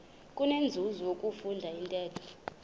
kunenzuzo ukufunda intetho